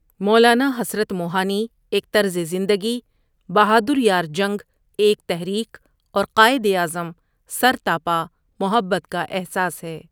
مولانا حسرت موہانی ایک طرز زندگی، بہادر یار جنگ ایک تحریک اور قائد اعظم سرتاپا محبت کا احساس ہے ۔